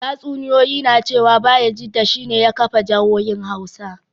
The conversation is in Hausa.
Tatsuniyoyi na cewa Bayajidda shi ne ya kafa jihohin Hausa